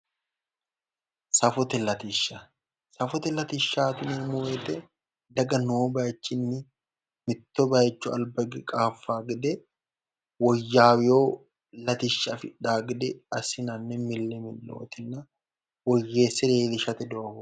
Safote latishsha safote latishashaati yineemo woyite daga Noo bayichinii mitto bayicho alibba highe qaafawo gede woyyaaweo Latishsha Afidhawo gede assinanni mili milootina woyyeese leelishate dogooti